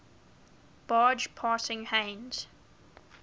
barge passing heinz